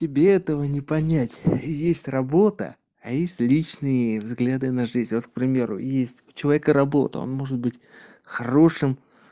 тебе этого не понять есть работа а есть личные взгляды на жизнь вот к примеру есть у человека работа он может быть хорошим